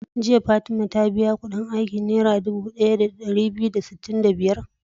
Jiya fatima ta biya Ƙudin aikin naira Dubu biyu da dari daya da sitin da biyar?